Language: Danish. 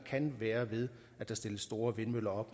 kan være ved at der stilles store vindmøller